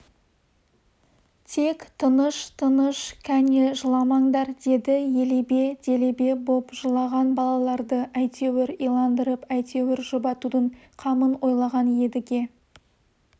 тек тыныш тыныш кәне жыламаңдар деді елебе-делебе боп жылаған балаларды әйтеуір иландырып әйтеуір жұбатудың қамын ойлаған едіге